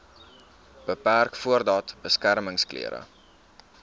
beperk voordat beskermingsklere